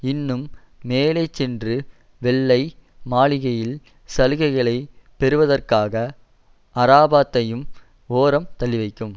இன்னும் மேலே சென்று வெள்ளை மாளிகையில் சலுகைகளை பெறுவதற்காக அரபாத்தையும் ஓரம் தள்ளிவைக்கும்